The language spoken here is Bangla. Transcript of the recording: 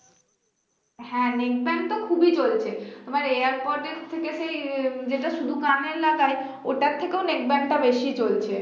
হ্যাঁ neckband তো খুবই চলছে, মানে airpods থেকে আহ যেটা শুধু কানে লাগায় ওটার থেকেও neckband টা বেশি চলছে